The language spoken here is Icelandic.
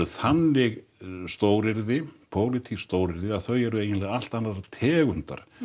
þannig stóryrði pólitísk stóryrði að þau eru eiginlega allt annarrar tegundar